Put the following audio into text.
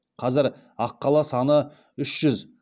қазір аққала саны үш жүз